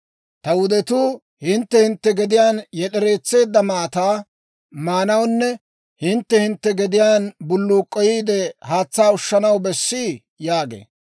Ta wudetuu hintte hintte gediyaan yed'ereetseedda maataa maanawunne hintte hintte gediyaan bulluuk'k'oyeedda haatsaa ushanaw bessii?» yaagee.